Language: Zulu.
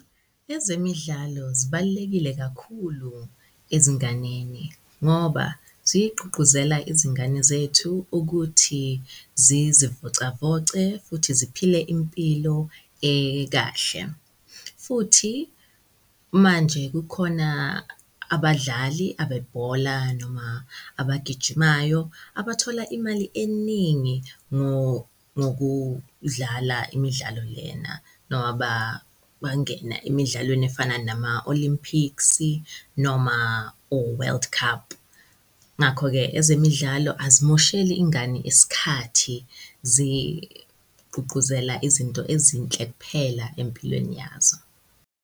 Ezemidlalo zibalulekile kakhulu ezinganeni ngoba zigqugquzela izingane zethu ukuthi zizivocavoce futhi ziphile impilo kahle. Futhi manje kukhona abadlali abebhola noma abagijimayo abathola imali eningi ngokudlala imidlalo lena noba bangena emidlalweni efana nama-Olympics-i noma o-World Cup. Ngakho-ke ezemidlalo azimosheli ingane isikhathi zigqugquzela izinto ezinhle kuphela empilweni yazo.